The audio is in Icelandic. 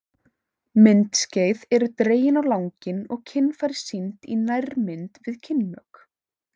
Myndskeið eru dregin á langinn og kynfæri sýnd í nærmynd við kynmök.